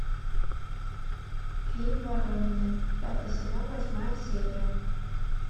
фильм воронины пятый сезон восьмая серия